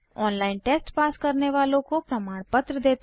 online test pass करने वालों को प्रमाणपत्र देते हैं